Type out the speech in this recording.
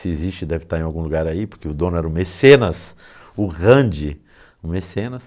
Se existe, deve estar em algum lugar aí, porque o dono era o Mecenas, o Rand, o Mecenas.